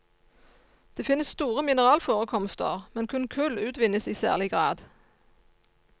Det finnes store mineralforekomster, men kun kull utvinnes i særlig grad.